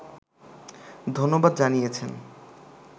ধন্যবাদ জানিয়েছেন